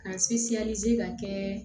Ka ka kɛ